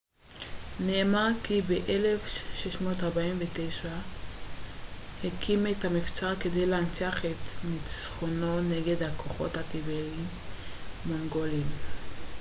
נאמר כי ב-1649 ז'אבדרונג נגוואנג נאמגייל הקים את המבצר כדי להנציח את נצחונו נגד הכוחות הטיבטיים-מונגוליים